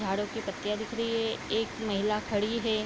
झाड़ू की पत्तियाँ दिख रही हैं एक महिला खड़ी हैं।